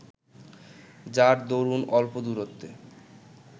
যার দরুন অল্প দূরত্বে